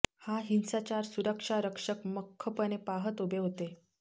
हा हिंसाचार सुरक्षा रक्षक मख्खपणे पहात उभे होते